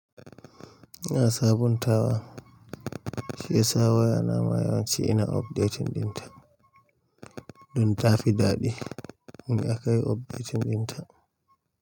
Ina sabuntawa, shiyasa waya na mayawa ci ina updating din ta. Dun tafi daɗi, mun akai updating din ta.